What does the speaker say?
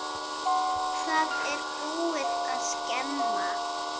Það er búið að skemma.